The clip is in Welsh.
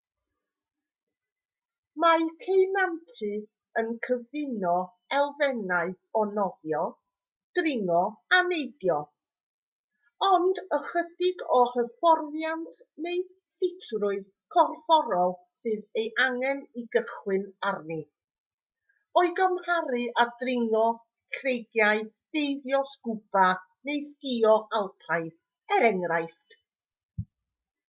mae ceunantu yn cyfuno elfennau o nofio dringo a neidio - ond ychydig o hyfforddiant neu ffitrwydd corfforol sydd ei angen i gychwyn arni o'i gymharu â dringo creigiau deifio sgwba neu sgïo alpaidd er enghraifft